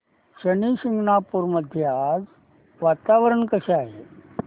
शनी शिंगणापूर मध्ये आज वातावरण कसे आहे